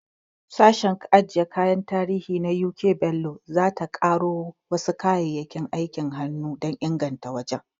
Sashen ajiye kayan tarihi na U.K Bello, za ta ƙaro wasu kayayyakin aikin hannu na da dan inganta wajen.